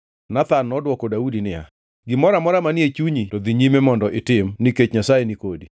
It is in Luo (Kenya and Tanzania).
Nathan nodwoko Daudi niya, “gimoro amora manie chunyi to dhi nyime mondo itim nikech Nyasaye ni kodi.”